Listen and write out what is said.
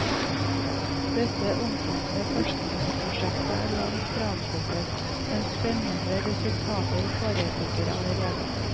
Dette omfattende forskningsprosjektet er langt fra avsluttet, men spennende resultater foreligger allerede.